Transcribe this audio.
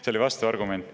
See oli vastuargument.